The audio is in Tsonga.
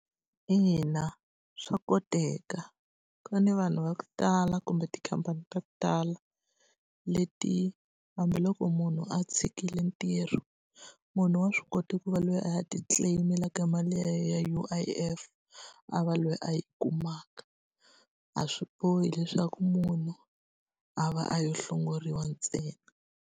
Ina swa koteka. Ku ni vanhu va ku tala kumbe tikhampani ta ku tala, leti hambiloko munhu a tshikile ntirho, munhu wa swi kota ku va loyi a ti-claim-elaka mali ya yena ya U_I_F a va loyi a yi kumaka. A swi bohi leswaku munhu a va a lo hlongoriwa ntsena.